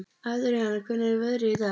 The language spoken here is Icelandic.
Adrian, hvernig er veðrið í dag?